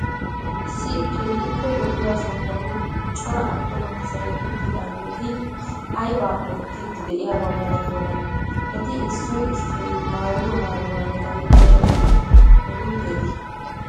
Issi keehippe lo'iya sohuwan cora attuma asay uttidaageeti aybaa oottiiddi de'iyaba malatiyonaa? Eti issoy issoy maayido maayuwa meray aybakko uduteetii?